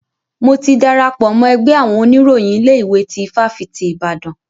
Mo ti darapọ̀ mọ́ ẹgbẹ́ àwọn oníròyìn ilé ìwé tí ifáfitì Ibadan.